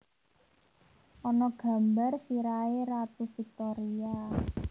Ana gambar sirahe Ratu Victoria